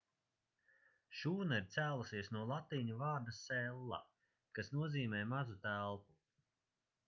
šūna ir cēlusies no latīņu vārda cella' kas nozīmē mazu telpu